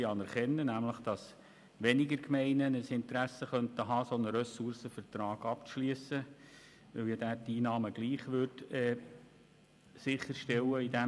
Dass nämlich weniger Gemeinden ein Interesse daran haben könnten, einen Ressourcenvertrag abzuschliessen, weil die Einnahmen in diesem Bereich trotzdem sichergestellt wären.